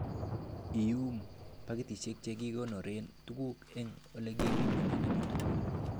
Iyum pakitisiek che kikonooren tuguk en ele kipimonen amitwogik.